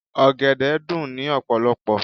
Ọ̀gẹ̀dẹ̀ dùn ní ọ̀pọ̀lọpọ̀.